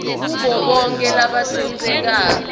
kubo bonkhe labatsintsekako